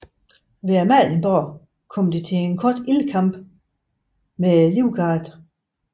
Ved Amalienborg kom det til en kort ildkamp med livgarden